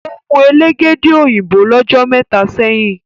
o mú Elégédé òyìnbó l'ojo méta sẹyìn.